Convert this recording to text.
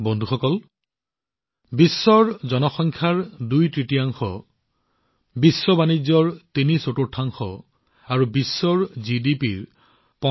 বন্ধুসকল জি২০ৰ অংশীদাৰীত্বত বিশ্বৰ জনসংখ্যাৰ দুইতৃতীয়াংশ বিশ্ব বাণিজ্যৰ তিনিচতুৰ্থাংশ আৰু বিশ্বৰ জিডিপিৰ ৮৫ আছে